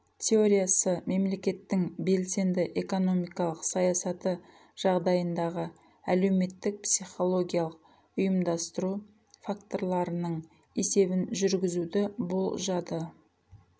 теориясы мемлекеттің белсенді экономикалық саясаты жағдайындағы әлеуметтік психологиялық ұйымдастыру факторларының есебін жүргізуді болжады